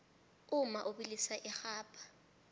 umma ubilisa irhabha